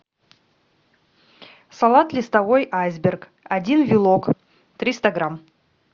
салат листовой айсберг один вилок триста грамм